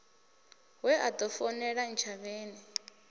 we a ḓo founela ntshavheni